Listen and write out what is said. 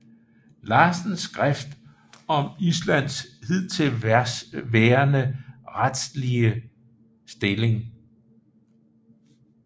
Larsens skrift om Islands hidtil værende statsretlige stilling